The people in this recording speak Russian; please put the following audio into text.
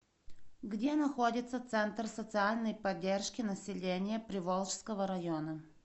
где находится центр социальной поддержки населения приволжского района